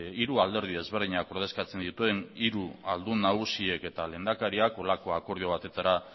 hiru alderdi ezberdinak ordezkatzen dituen hiru ahaldun nagusiek eta lehendakariak holako akordio batera